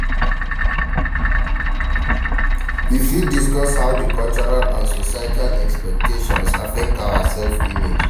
You fit discuss how di cultural and societal expectations affect our self-image.